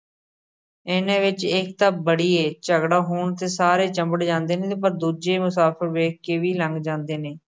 ਇਹਨਾਂ ਵਿੱਚ ਏਕਤਾ ਬੜੀ ਏ, ਝਗੜਾ ਹੋਣ 'ਤੇ ਸਾਰੇ ਚੰਬੜ ਜਾਂਦੇ ਨੇ, ਪਰ ਦੂਜੇ ਮੁਸਾਫ਼ਰ ਵੇਖ ਕੇ ਵੀ ਲੰਘ ਜਾਂਦੇ ਨੇ।